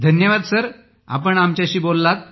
धन्यवाद सर आपण आमच्याशी बोललात